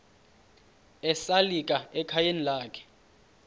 esalika ekhayeni lakhe